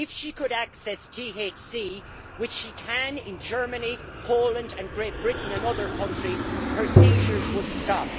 If she could access THC, which she could in Germany, Poland, Great Britain and other countries, her seizures would stop.